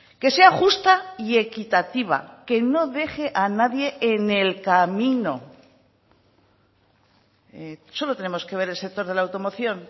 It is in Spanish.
que sea justa y equitativa que no deje a nadie en el camino solo tenemos que ver el sector de la automoción